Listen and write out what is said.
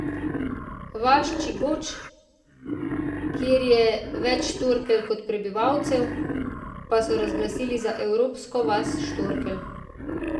Vas Čigoć, kjer je več štorkelj kot prebivalcev, pa so razglasili za evropsko vas štorkelj.